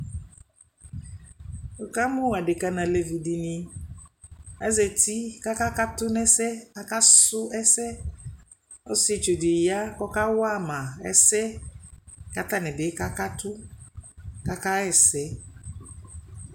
Wʋkamʋ adekǝ nʋ alevi dɩnɩ Azati kʋ akakatʋ nʋ ɛsɛ, akasʋ ɛsɛ Ɔsɩetsu dɩ ya kʋ ɔkawa ma ɛsɛ kʋ atanɩ bɩ kakatʋ kʋ akaɣa ɛsɛ